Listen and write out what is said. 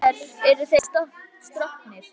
En í þér eru þeir stroknir.